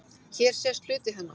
Hér sést hluti hennar.